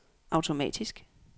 automatisk